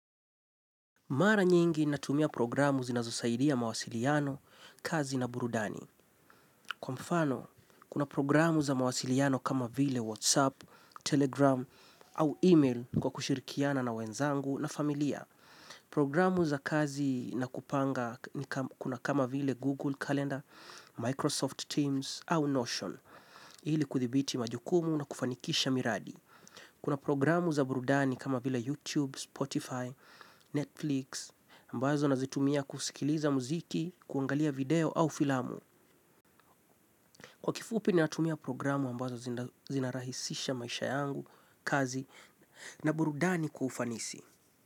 Mara nyingi natumia programu zinazosaidia mawasiliano, kazi na burudani. Kwa mfano, kuna programu za mawasiliano kama vile WhatsApp, Telegram au email kwa kushirikiana na wenzangu na familia. Programu za kazi na kupanga kuna kama vile Google Calendar, Microsoft Teams au Notion. Ili kuthibiti majukumu na kufanikisha miradi. Kuna programu za burudani kama vile YouTube, Spotify, Netflix, ambazo nazitumia kusikiliza muziki, kuangalia video au filamu. Kwa kifupi natumia programu ambazo zinarahisisha maisha yangu, kazi, na burudani kwa ufanisi.